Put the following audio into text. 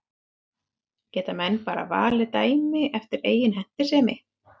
Geta menn bara valið dæmi eftir eigin hentisemi?